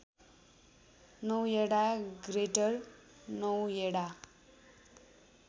Noida greater Noida